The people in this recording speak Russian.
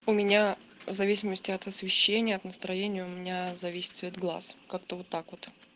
у меня в зависимости от освещения от настроения у меня зависит цвет глаз как-то вот так вот